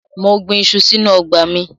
Mo gbin iṣu sínú ọgbà mi.